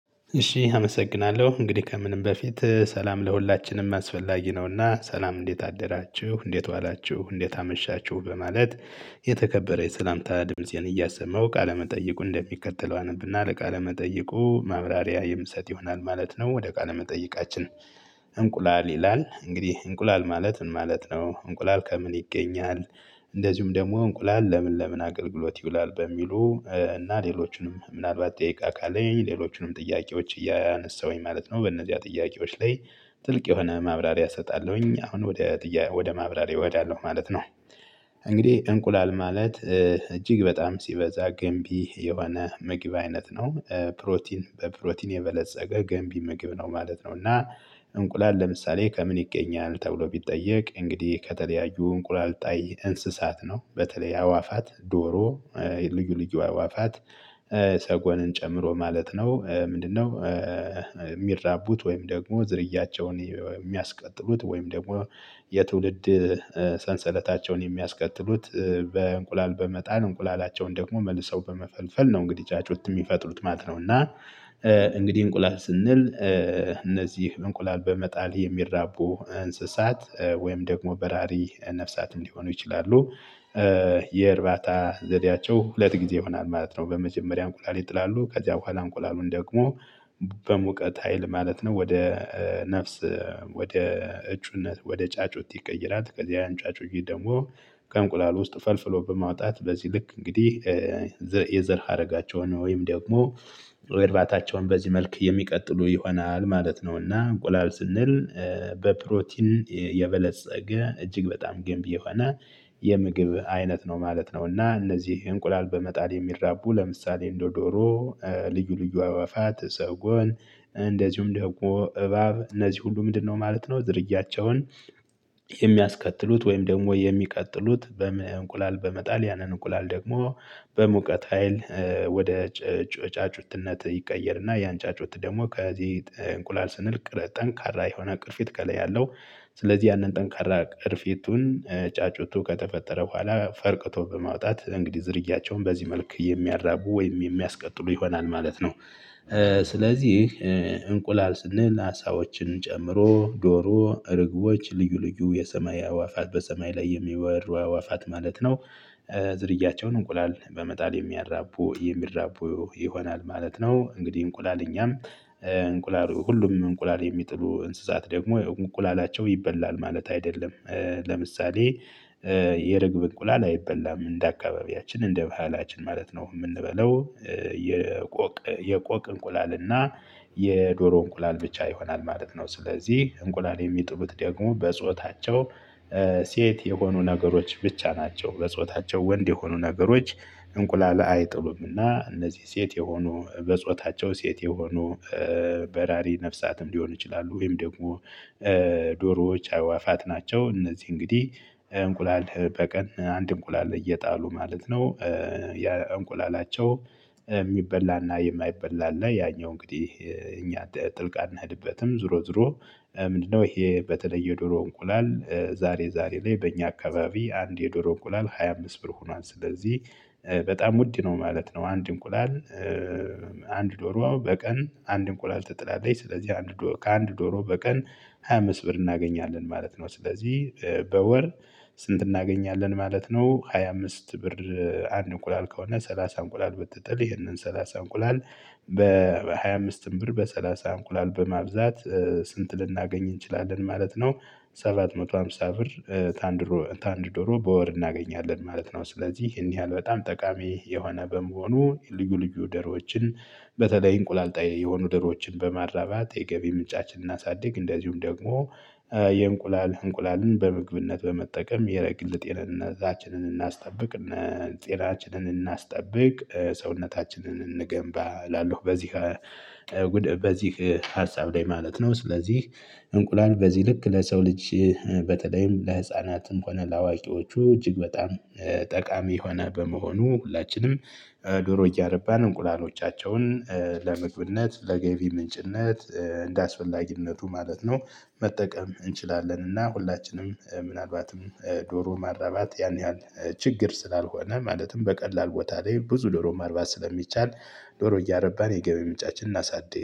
እሺ አመሰግናለሁ እንግዲህ ከምንም በፊት ሰላም ለሁላችንም አስፈላጊ ነውና ሰላም እንዴት አደራችሁ እንዴት ዋላችሁ እንዴት አመሻችሁ በማለት። የተከበረ የሰላምታ ድምፄን እያሰማሁ ቃለመጠይቁን እንደሚከተለው አነብና ወደ ቃለ መጠይቁ ማብራሪያ የምሰጥ ይሆናል ማለት ነው። ወደ ቃለ መጠይቃችን እንቁላል ይላል እንግዲህ እንቁላል ማለት ምን ማለት ነው? እንቁላል ከምን ይገኛል? እንደዚሁም ደግሞ እንቁላል ለምን ለምን አገልግሎት ይውላል በሚሉ? እና ሌሎችንም ምናልባት ደቂቃ ካለኝ ሌሎችንም ጥያቄዎች እያነሳሁኝ ማለት ነው። በእነዚህ ጥያቄዎች ላይ ጥልቅ የሆነ ማብራሪያ እሰጣለሁኝ። አሁን ወደ ጥያቄ ወደ ማብራሪያ እሄዳለሁ ማለት ነው። እንግዲህ እንቁላል ማለት እጅግ በጣም ሲበዛ ገንቢ የሆነ መግብ አይነት ነው። ፕሮቲን በፕሮቲን የበለፀገ ገንቢ ምግብ ነው ማለት ነው። እና እንቁላል ለምሳሌ ከምን ይገኛል ተብሎ ቢጠየቅ እንግዲህ ከተለያዩ እንቁላል ጣይ እንስሳት ነው በተለይ አዕዋፋት ዶሮ ልዩ ልዩ አዕዋፋት ሰጎንን ጨምሮ ማለት ነው። ምንድነው? የሚራቡት ወይም ደግሞ ዝርያቸውን የሚያስቀጥሉት ወይም ደግሞ የትውልድ ሰንሰለታቸውን የሚያስቀጥሉት በእንቁላል በመጣል እንቁላላቸውን ደግሞ መልሰው በመፈልፈል ነው። እንግዲህ ጫጩት የሚፈጥሩት ማለት ነው። እና እንግዲህ እንቁላል ስንል እነዚህ እንቁላል በመጣል የሚራቡ እንስሳት ወይም ደግሞ በራሪ ነፍሳት እንዲሆኑ ይችላሉ። የእርባታ ዘዴያቸው ሁለት ጊዜ ይሆናል ማለት ነው። በመጀመሪያ እንቁላል ይጥላሉ ከዚያ በኋላ እንቁላሉን ደግሞ በሙቀት ሀይል ማለት ነው ወደ ነፍስ ወደ እጩነት ወደ ጫጩት ይቀይራል። ከዚያ ያን ጫጩት ደግሞ ከእንቁላል ውስጥ ፈልፍሎ በማውጣት በዚህ ልክ እንግዲህ የዘር ሀረጋቸውን ወይም ደግሞ እርባታቸውን በዚህ መልክ የሚቀጥሉ ይሆናል ማለት ነውና። እንቁላል ስንል በፕሮቲን የበለፀገ እጅግ በጣም ገንቢ የሆነ የምግብ አይነት ነው ማለት ነውና። እነዚህ እንቁላል በመጣል የሚራቡ ለምሳሌ እንደ ዶሮ ልዩ ልዩ አዕዋፋት ሰጎን ደግሞ እባብ እነዚህ ሁሉ ምንድነው ማለት ነው? ዝርያቸውን የሚያስከትሉት ወይም ደግሞ የሚቀጥሉት በምን እንቁላል በመጣል ያንን እንቁላል ደግሞ በሙቀት ሀይል ወደ ጫጩትነት ይቀየርና ያን ጫጩት ደግሞ ከዚህ እንቁላል ስንል ጠንካራ የሆነ ቅርፊት ከላይ ያለው ስለዚህ ያንን ጠንካራ ቅርፊቱን ጫጩቱ ከተፈጠረ በኋላ ፈርቅቶ በማውጣት እንግዲህ ዝርያቸውን በዚህ መልክ የሚያራቡ ወይም የሚያስቀጥሉ ይሆናል ማለት ነው። ስለዚህ እንቁላል ስንል አሳዎችን ጨምሮ ዶሮ እርግቦች ልዩ ልዩ የሰማይ አዋፋት በሰማይ ላይ የሚበሩ አእዋፋት ማለት ነው። ዝርያቸውን እንቁላል በመጣል የሚያራቡ የሚያራቡ ይሆናል ማለት ነው። እንግዲህ እንቁላል እኛም እንቁላል ሁሉም እንቁላል የሚጥሉ እንስሳት ደግሞ እንቁላላቸው ይበላል ማለት አይደለም። ለምሳሌ የርግብ እንቁላል አይበላም እንደ አካባቢያችን እንደ ባህላችን ማለት ነው የምንበላው የቆቅ የቆቅ እንቁላል እና የዶሮ እንቁላል ብቻ ይሆናል ማለት ነው። ስለዚህ እንቁላል የሚጥሉት ደግሞ በጾታቸው ሴት የሆኑ ነገሮች ብቻ ናቸው። በጾታቸው ወንድ የሆኑ ነገሮች እንቁላል አይጥሉምና። እነዚህ ሴት የሆኑ በጾታቸው ሴት የሆኑ በራሪ ነፍሳትም ሊሆን ይችላሉ ወይም ደግሞ ዶሮዎች አዕዋፋት ናቸው። እነዚህ እንግዲህ እንቁላል በቀን አንድ እንቁላል እየጣሉ ማለት ነው። ያ እንቁላላቸው የሚበላና የማይበላ እና ያኛው እንግዲህ እኛ ጥልቅ አንሄድበትም። ዞሮ ዞሮ ምንድነው? ይሄ በተለይ የዶሮ እንቁላል ዛሬ ዛሬ ላይ በእኛ አካባቢ አንድ የዶሮ እንቁላል ሃያ አምስት ብር ሆኗል። ስለዚህ በጣም ውድ ነው ማለት ነው። አንድ እንቁላል። አንድ ዶሮ በቀን አንድ እንቁላል ትጥላለች። ስለዚህ ከአንድ ዶሮ በቀን ሃያ አምስት ብር እናገኛለን ማለት ነው። ስለዚህ በወር ስንት እናገኛለን ማለት ነው። ሃያ አምስት ብር። አንድ እንቁላል ከሆነ ሰላሳ እንቁላል ብትጥል ይሄንን ሰላሳ እንቁላል በሃያ አምስትም ብር በሰላሳ እንቁላል በማብዛት ስንት ልናገኝ እንችላለን ማለት ነው። ሰባት መቶ ሃምሳ ብር። ከአንድ ከአንድ ዶሮ ዶሮ በወር እናገኛለን ማለት ነው። ስለዚህ ይሄን ያህል በጣም ጠቃሚ የሆነ በመሆኑ ልዩ ልዩ ደሮዎችን ደሮችን በተለይ እንቁላል ጣይ የሆኑ ዶሮዎችን በማራባት የገቢ ምንጫችንን እናሳድግ። እንደዚሁም ደግሞ የእንቁላል እንቁላልን በምግብነት በመጠቀም የግል ጤንነታችንን እናስጠብቅ። እነ ጤናችንን እናስጠብቅ ሰውነታችንን እንገንባ እላለሁ። በዚህ በዚህ ሀሳብ ላይ ማለት ነው። ስለዚህ እንቁላል በዚህ ልክ ለሰው ልጅ በተለይም ለህፃናትም ሆነ ለአዋቂዎቹ እጅግ በጣም ጠቃሚ የሆነ በመሆኑ ሁላችንም ዶሮ እያረባን እንቁላሎቻቸውን ለመምግብነት ለገቢ ምንጭነት እንደአስፈላጊነቱ ማለት ነው። መጠቀም እንችላለን። እና ሁላችንም ምናልባትም ዶሮ ማራባት ያን ያህል ችግር ስላልሆነ ማለትም በቀላል ቦታ ላይ ብዙ ዶሮ ማርባት ስለሚቻል ዶሮ እያረባን የገበያ ምንጫችን እናሳድግ